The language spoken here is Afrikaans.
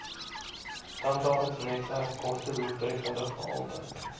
tandartsnetwerk kostedoeltreffende gehalte